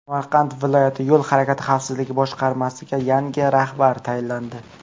Samarqand viloyati Yo‘l harakati xavfsizligi boshqarmasiga yangi rahbar tayinlandi.